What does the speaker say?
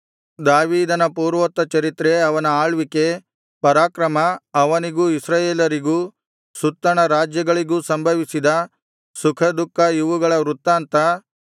ದಾವೀದನ ಪೂರ್ವೋತ್ತರಚರಿತ್ರೆ ಅವನ ಆಳ್ವಿಕೆ ಪರಾಕ್ರಮ ಅವನಿಗೂ ಇಸ್ರಾಯೇಲರಿಗೂ ಸುತ್ತಣ ರಾಜ್ಯಗಳಿಗೂ ಸಂಭವಿಸಿದ ಸುಖದುಃಖ ಇವುಗಳ ವೃತ್ತಾಂತ